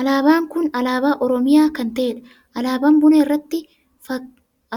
Alaabaan kun alaabaa oromiyaa kan taheedha.